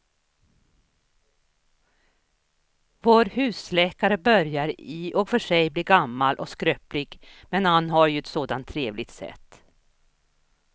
Vår husläkare börjar i och för sig bli gammal och skröplig, men han har ju ett sådant trevligt sätt!